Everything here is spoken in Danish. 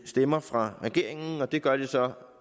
stemmer fra regeringen og det gør de så